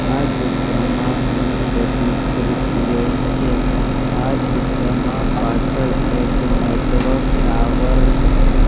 આ ચિત્રમાં ઘણી બધી ખુરસીઓ છે આ ચિત્રમાં પાછળ એક નેટવર્ક ટાવર --